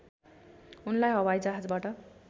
उनलाई हवाइजहाजबाट